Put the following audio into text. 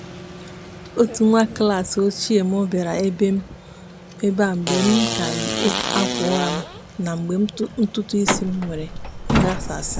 otu nwa klaasị ochie mụ bịara ebe a mgbe m ka yi ákwà ụra m na mgbe ntụtụisi m mere nghasasị